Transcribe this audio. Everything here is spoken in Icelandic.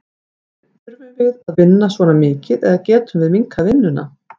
Þurfum við að vinna svona mikið eða getum við minnkað vinnuna?